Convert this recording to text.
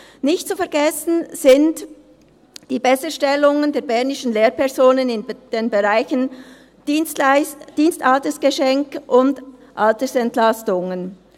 Nicht zu vergessen sind die Besserstellungen der bernischen Lehrpersonen in den Bereichen Dienstaltersgeschenk und Altersentlastungen.